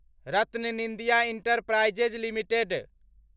RattanIndia enterprises limited